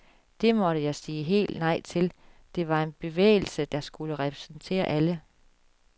Det måtte jeg sige helt nej til, det var en bevægelse, der skulle repræsentere alle.